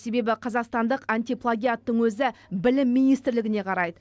себебі қазақстандық антиплагиаттың өзі білім министрлігіне қарайды